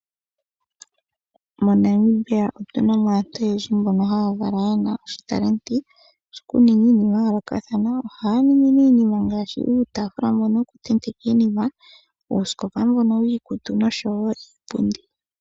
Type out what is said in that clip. MoNamibia otuna mo aantu oyendji mbono haya kala yena oshitalenti shokuninga iinima yayoolokathana. Ohaya ningi ne iinima ngaashi uutafula mbono woku tenetekwa iinima, uusikopa mbono wiikutu, noshowo iipundi.